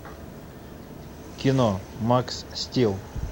кино макс стил